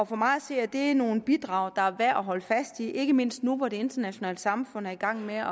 for mig at se er det nogle bidrag der er værd at holde fast i ikke mindst nu hvor det internationale samfund er i gang med